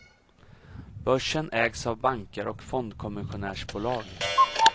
Börsen ägs av banker och fondkommissionärsbolag.